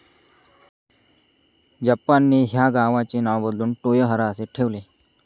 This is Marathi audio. जपानने ह्या गावाचे नाव बदलून टोयोहारा असे ठेवले.